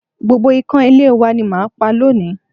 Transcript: Gbogbo ikan ilé w ani màá pa lónìí